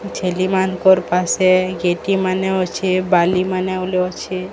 ଛେଲି ମାନଂକର ପାଶେ ଗେଟି ମାନେ ଅଛି ବାଲି ମାନେ ବୋଇଲେ ଅଛି।